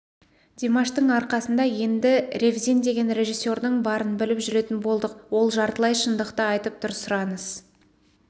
димаштың арқасында енді ревзин деген режиссердің барын біліп жүретін болдық ол жартылай шындықты айтып тұр сұраныс